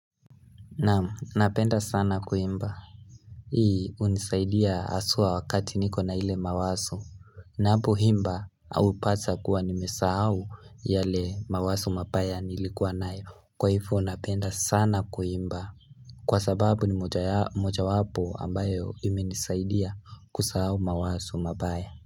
Naam napenda sana kuimba Hii hunisaidia haswa wakati niko na ile mawazo nanapoimba au pasa kuwa nimesahao yale mawazo mabaya nilikuwa nayo Kwa hivo napenda sana kuimba Kwa sababu ni moja wapo ambayo imenisaidia kusahao mawazo mabaya.